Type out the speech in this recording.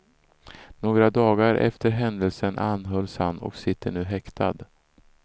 Några dagar efter den händelsen anhölls han och sitter nu häktad.